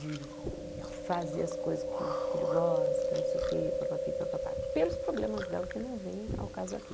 de fazer as coisas que o filho gosta, não sei o quê, papapí, papapá, pelos problemas dela que não vêm ao caso aqui.